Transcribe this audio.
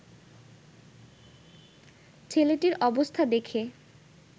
ছেলেটির অবস্থা দেখে